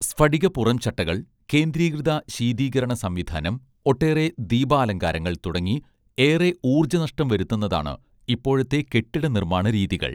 സ്ഫടിക പുറംചട്ടകൾ കേന്ദ്രീകൃത ശീതീകരണ സംവിധാനം ഒട്ടേറെ ദീപാലങ്കാരങ്ങൾ തുടങ്ങി ഏറെ ഊർജ്ജ നഷ്ടം വരുത്തുന്നതാണ് ഇപ്പോഴത്തെ കെട്ടിട നിർമ്മാണ രീതികൾ